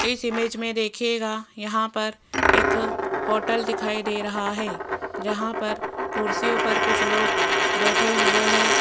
इस इमेज में देखिएगा यहां पर एक होटल दिखाई दे रहा है जहां पर कुर्सियों पर कुछ लोग बैठे हुए है।